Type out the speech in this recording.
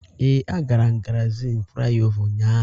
Ee, agara m Gárịzịn Flaịọvá ụnyahụ.